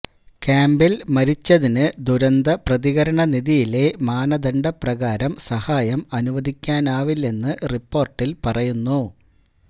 ക്യാംപില് മരിച്ചതിന് ദുരന്ത പ്രതികരണ നിധിയിലെ മാനദണ്ഡപ്രകാരം സഹായം അനുവദിക്കാനാവില്ലെന്ന് റിപോര്ട്ടില് പറയുന്നു